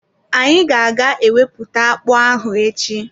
Anyi ga-aga egwupụta akpụ ahụ echi.